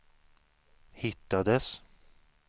hittades